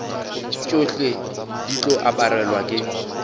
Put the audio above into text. tšohle di tlo aparelwa ke